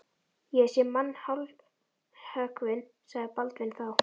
Ég hef séð mann hálshöggvinn, sagði Baldvin þá.